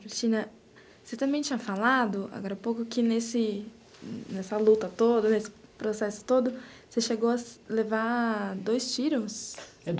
Cristina, você também tinha falado, agora há pouco, que nessa luta toda, nesse processo todo, você chegou a levar dois tiros?